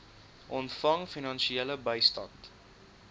ontvang finansiële bystand